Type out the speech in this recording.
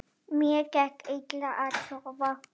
Mér gekk illa að sofna.